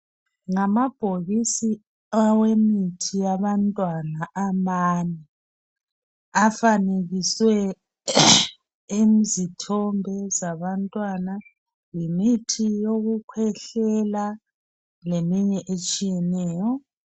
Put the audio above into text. Ngamabhokisi awemithi yabantwana amane afanekisiwe izithombe zabantwana yimithi yokukwehlela leminye etshiyeneyo.